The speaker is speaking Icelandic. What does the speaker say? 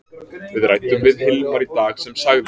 Við ræddum við Hilmar í dag sem sagði: